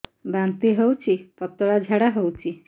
ବାନ୍ତି ହଉଚି ପତଳା ଝାଡା ହଉଚି